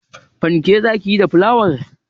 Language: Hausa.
Fanke za ki yi da flawar?